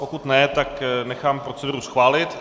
Pokud ne, tak nechám proceduru schválit.